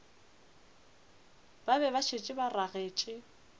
be ba šetše ba ragetše